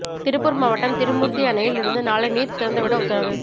திருப்பூர் மாவட்டம் திருமூர்த்தி அணையில் இருந்து நாளை நீர் திறந்துவிட உத்தரவு